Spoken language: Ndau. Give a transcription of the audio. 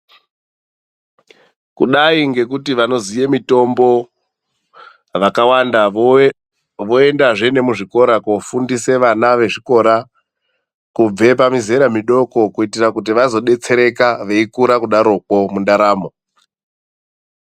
Kudayi ngekuti vanoziye mitombo vakawanda, voendazve nemuzvikora koofundise vana vezvikora kubve pamizera midoko kuitira kuti vazodetsereka veyikura kudaroko mundaromo.